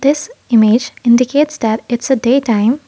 this image indicates that it's a day time.